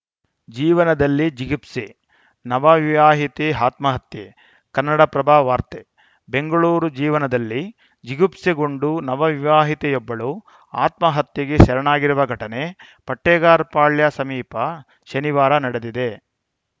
ಜೀವನದಲ್ಲಿ ಜಿಗುಪ್ಸೆ ನವ ವಿವಾಹಿತೆ ಆತ್ಮಹತ್ಯೆ ಕನ್ನಡಪ್ರಭ ವಾರ್ತೆ ಬೆಂಗಳೂರು ಜೀವನದಲ್ಲಿ ಜಿಗುಪ್ಸೆಗೊಂಡು ನವ ವಿವಾಹಿತೆಯೊಬ್ಬಳು ಆತ್ಮಹತ್ಯೆಗೆ ಶರಣಾಗಿರುವ ಘಟನೆ ಪಟ್ಟೇಗಾರಪಾಳ್ಯ ಸಮೀಪ ಶನಿವಾರ ನಡೆದಿದೆ